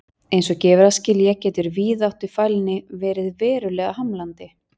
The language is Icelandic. Eins og gefur að skilja getur víðáttufælni verið verulega hamlandi.